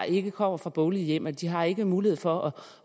ikke kommer fra boglige hjem de har ikke mulighed for